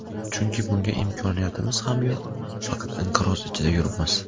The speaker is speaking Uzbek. Chunki bunga imkoniyatimiz ham yo‘q, faqat inqiroz ichida yuribmiz.